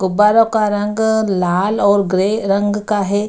गुब्बारों का रंग लाल और ग्रे रंग का है।